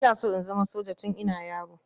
Ina so in zama soja tun ina yaro